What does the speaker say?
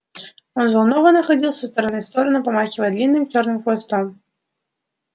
он взволнованно ходил из стороны в сторону помахивая длинным чёрным хвостом